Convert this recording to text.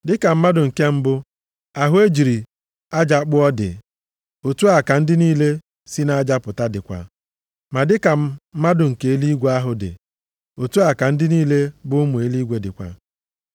Dị ka mmadụ nke mbụ ahụ e jiri aja kpụọ dị, otu a ka ndị niile si nʼaja pụta dịkwa. Ma dị ka mmadụ nke eluigwe ahụ dị, otu a ka ndị niile bụ ụmụ eluigwe dịkwa.